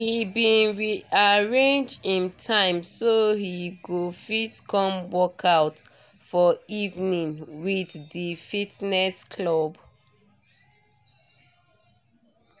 he bin re arrange him time so he go fit come workout for evenings with di fitness club